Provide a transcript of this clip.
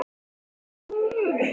Ætli sé um einhver álög að ræða?